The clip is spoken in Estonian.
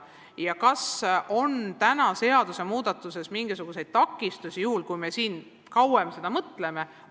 Ja kas on täna seaduse muudatuses mingisuguseid takistusi, juhul kui me siin kauem selle üle mõtleme?